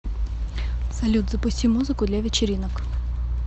салют запусти музыку для вечеринок